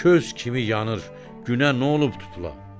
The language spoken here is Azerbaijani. Köz kimi yanır, günə nə olub tutula?